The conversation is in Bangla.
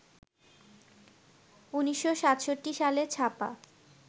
১৯৬৭ সালে ছাপা